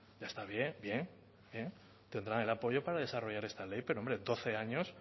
ya está bien bien bien tendrán el apoyo para desarrollar esta ley pero hombre doce años